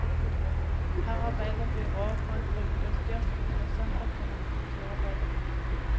Her arbeider byrådet for et brukerstyrt kultursenter for unge kulturarbeidere.